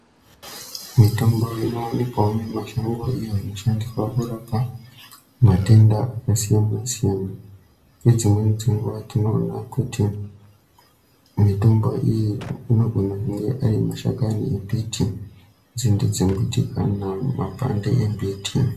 Mitombo inovanikwavo mumashango iyo inoshandiswa kurapa matenda akasiyana-siyana. Nedzimweni dzenguva tinoona kuti mitombo iyi anogona kunge ari mashakani embiti, nzinde dzembiti kana mapande embiti.